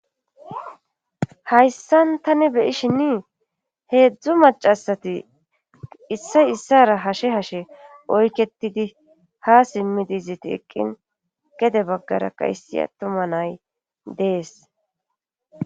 hayssan tani beyishinnii heedzdzu macasati issay issara hashe hashe oyketidi ha simmidi iziti eqqin gede baggaraka issia tuma nay dees